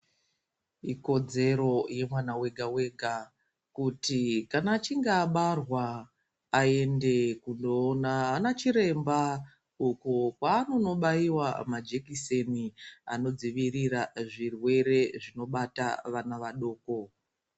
Ikodzero yemwana vega-vega kuti kana achinge abarwa aende kundoona ana chiremba. Uku kwanonobaiva manjekiseni anodzivirira zvirwere zvinobata vana vadoko.